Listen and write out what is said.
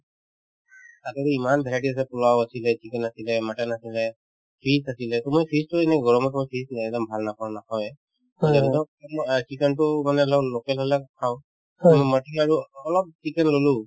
তাতে যে ইমান varieties আছে পুলাও আছিলে , chicken আছিলে , mutton আছিলে , fish আছিলে to মই fish তো এনেও গৰমৰ সময়ত fish তো একদম ভাল নাপাওঁ নাখাৱয়ে সেইকাৰণেতো to মই chicken তো মানে ধৰা local হলে খাওঁ to মই mutton আৰু অলপ chicken ললো